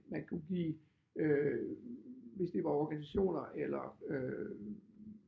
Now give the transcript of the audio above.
Man kunne give øh hvis det var organisationer eller øh